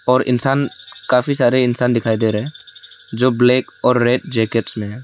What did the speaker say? और इंसान काफी सारे इंसान दिखाई दे रहे जो ब्लैक और रेड जैकेट्स में है।